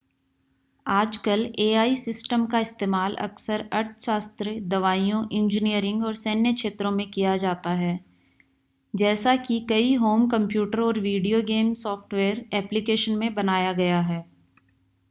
आजकल AI system का इस्तेमाल अक्सर अर्थशास्त्र दवाइयों इंजीनियरिंग और सैन्य क्षेत्रों में किया जाता है जैसा कि कई होम कंप्यूटर और वीडियो गेम सॉफ़्टवेयर ऐप्लिकेशन में बनाया गया है